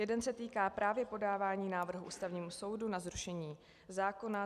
Jeden se týká právě podávání návrhů Ústavnímu soudu na zrušení zákona.